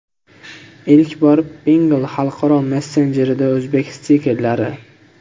Ilk bor Pinngle xalqaro messenjerida o‘zbek stikerlari!.